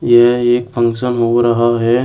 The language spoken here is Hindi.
यह एक फंक्शन हो रहा है।